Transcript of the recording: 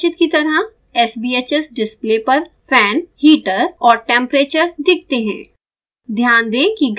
image में प्रदर्शित की तरह sbhs डिस्प्ले पर fan heater और temperature दिखते हैं